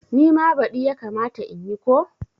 Nima badi yakamata in yi ko?